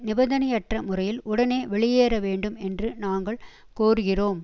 நிபந்தனையற்ற முறையில் உடனே வெளியேற வேண்டும் என்று நாங்கள் கோருகிறோம்